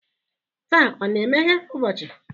Taa ọ na-emeghe ụbọchị?